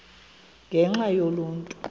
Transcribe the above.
ngenxa yaloo nto